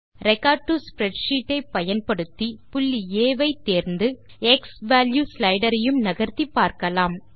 record to spreadsheet ஐ பயன்படுத்தி புள்ளி ஆ ஐ தேர்ந்து க்ஸ்வால்யூ ஸ்லைடர் ஐயும் நகர்த்தி பார்க்கலாம்